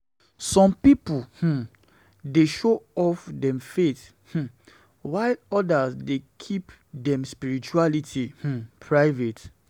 Some people um um dey show off dem faith, um while others dey keep dem spirituality um private.